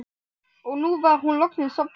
Og nú var hún loksins sofnuð.